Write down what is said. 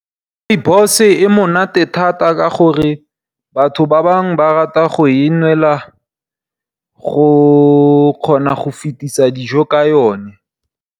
Rooibos e monate thata ka gore, batho ba bangwe ba rata go e nwela go kgona go fetisa dijo ka yone.